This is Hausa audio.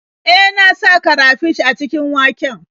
E, na sa karafish a cikin waken.